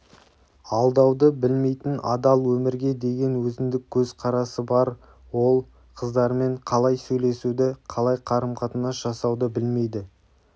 алдауды білмейтін адал өмірге деген өзіндік көзқарасы бар ол қыздармен қалай сөйлесуді қалай қарым-қатынас жасауды білмейді